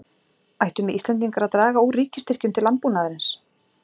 Ættum við Íslendingar að draga úr ríkisstyrkjum til landbúnaðarins?